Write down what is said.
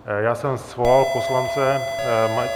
Já jsem svolal poslance.